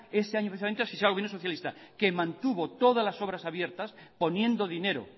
ese año asfixiar al gobierno socialista que mantuvo todas las obras abiertas poniendo dinero